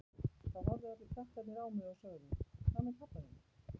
Þá horfðu allir krakkarnir á mig og sögðu Hvað með pabba þinn?